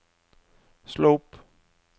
slå opp